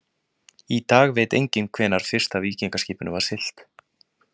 Í dag veit enginn hvenær fyrsta víkingaskipinu var siglt.